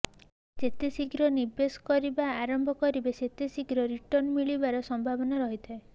ଯେତେ ଶିଘ୍ର ନିବେଶ କରିବା ଆରମ୍ଭ କରିବେ ସେତେ ବେଶି ରିଟର୍ଣ୍ଣ ମିଳିବାର ସମ୍ଭାବନା ରହିଥାଏ